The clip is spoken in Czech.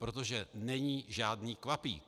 Protože není žádný kvapík.